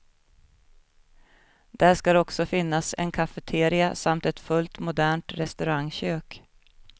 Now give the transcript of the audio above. Där skall också finnas en cafeteria samt ett fullt modernt restaurangkök.